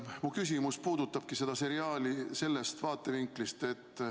Mu küsimus puudutabki seda seriaali.